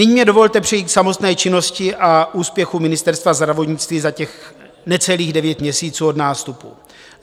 Nyní mi dovolte přejít k samotné činnosti a úspěchům Ministerstva zdravotnictví za těch necelých devět měsíců od nástupu.